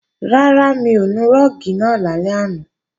Rárá, mi ò nu rúùgì náà lálẹ́ àná